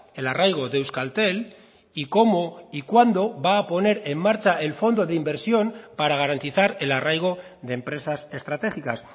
el arraigo de euskaltel y cómo y cuándo va a poner en marcha el fondo de inversión para garantizar el arraigo de empresas estratégicas